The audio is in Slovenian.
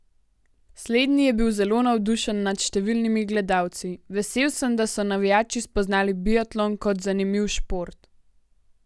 Slednji je bil zelo navdušen nad številnimi gledalci: 'Vesel sem, da so navijači spoznali biatlon kot zanimiv šport.